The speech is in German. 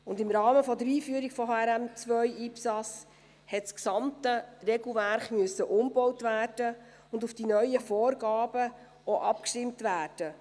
Und im Rahmen der Einführung von HRM2/IPSAS musste das gesamte Regelwerk umgebaut und auch auf die neuen Vorgaben abgestimmt werden.